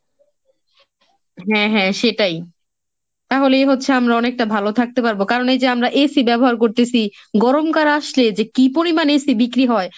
হ্যাঁ হ্যাঁ সেটাই, তাহলেই হচ্ছে আমরা অনেকটা ভালো থাকতে পারবো কারণ এই যে আমরা AC ব্যবহার করতেসি, গরমকাল আসলে যে কি পরিমান AC বিক্রি হয়।